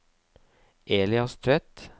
Elias Tvedt